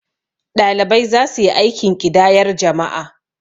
ɗalibai za su yi aikin ƙidayar jama'a